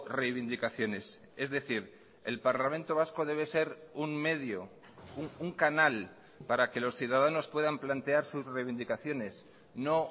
reivindicaciones es decir el parlamento vasco debe ser un medio un canal para que los ciudadanos puedan plantear sus reivindicaciones no